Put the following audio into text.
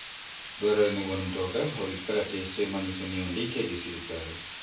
Dwarore ni wuon mtoka orit kalatese manyiso ni ondike gi sirkal.